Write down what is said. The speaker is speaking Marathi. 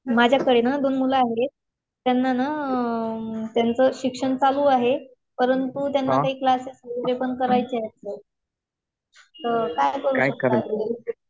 माझ्याकडे ना दोन मुलं आहेत. त्यांना ना, त्यांचं शिक्षण चालू आहे. परंतु त्यांना ते क्लासेस करायचे आहेत. तर काय करू शकताय तुम्ही?